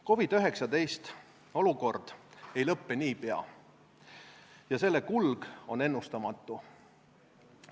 COVID-19 olukord ei lõppe niipea ja selle kulg on ennustamatu.